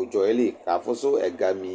ʋdzɔ yɛ li kafʋsʋ ɛgami